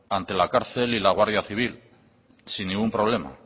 ante la cárcel y la guardia civil sin ningún problema